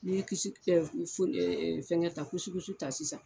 N'i kisi fɛngɛ ta kusikusi ta sisan.